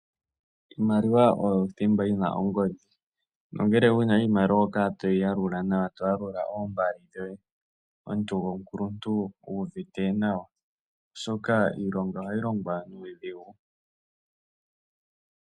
Iimaliwa oyo othimba yina ongodhi nongele wuna iimaliwa toyi yalula omuntu oho kala wuuvite nawa omuntu gomukuluntu oshoka iilonga ohayi longwa nuudhigu.